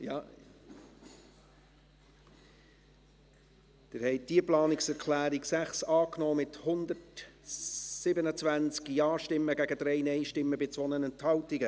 Sie haben die Planungserklärung 6 angenommen, mit 127 Ja- gegen 3 Nein-Stimmen bei 2 Enthaltungen.